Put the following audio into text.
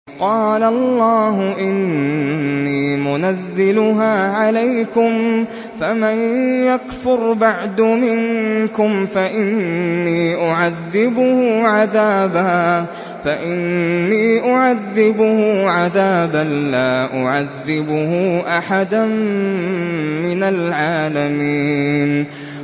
قَالَ اللَّهُ إِنِّي مُنَزِّلُهَا عَلَيْكُمْ ۖ فَمَن يَكْفُرْ بَعْدُ مِنكُمْ فَإِنِّي أُعَذِّبُهُ عَذَابًا لَّا أُعَذِّبُهُ أَحَدًا مِّنَ الْعَالَمِينَ